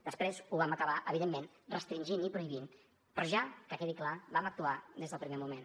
després ho vam acabar evidentment restringint i prohibint però ja que quedi clar vam actuar des del primer moment